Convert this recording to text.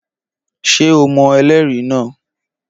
Ṣé o mọ ẹlẹ́rìí náà?